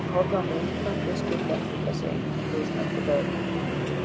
Hann horfði á mig undrandi, skildi ekki þessi einkennilegu og snöggu veðrabrigði.